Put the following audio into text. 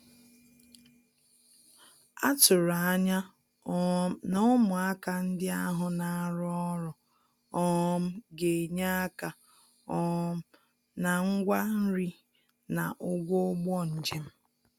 A tụ̀rụ̀ ànyà um na ụmụàkà ndí ahụ̀ na-arụ́ ọrụ um gā-ényè aka um na ngwá nri na ụ̀gwọ̀ ùgbò njem.